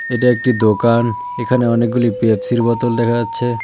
এটা একটি দোকান এখানে অনেকগুলি পেপসির বোতল দেখা যাচ্ছে।